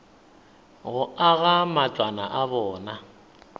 go aga matlwana a bona